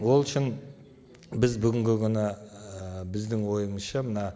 ол үшін біз бүгінгі ы біздің ойымызша мына